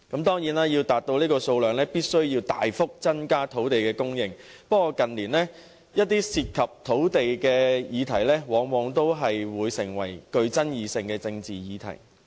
當然，要達到這個建屋數量，便須大幅增加土地供應，但近年一些涉及土地的議題，往往會成為甚富爭議的政治議題。